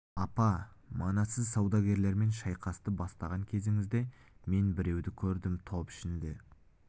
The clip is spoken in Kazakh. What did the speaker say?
апа мана сіз саудагерлермен шайқасты бастаған кезіңізде мен біреуді көрдім топ ішінде